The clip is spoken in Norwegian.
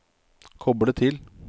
koble til